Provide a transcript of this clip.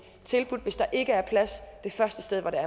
tilbudt hvis der ikke er plads det første sted hvor